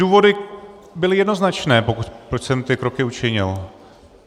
Důvody byly jednoznačné, proč jsem ty kroky učinil.